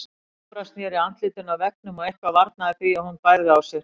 Jóra sneri andlitinu að veggnum og eitthvað varnaði því að hún bærði á sér.